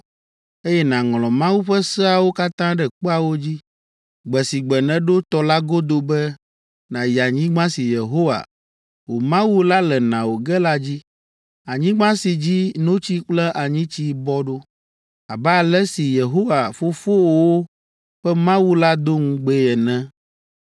eye nàŋlɔ Mawu ƒe seawo katã ɖe kpeawo dzi, gbe si gbe nèɖo tɔ la godo be nàyi anyigba si Yehowa, wò Mawu la le na wò ge la dzi, anyigba si dzi ‘notsi kple anyitsi bɔ ɖo,’ abe ale si Yehowa, fofowòwo ƒe Mawu la do ŋugbee ene.